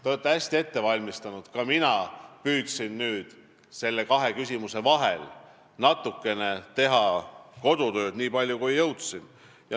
Te olete hästi ette valmistanud, ka mina püüdsin nende kahe küsimuse vahel teha natukene kodutööd, nii palju kui jõudsin.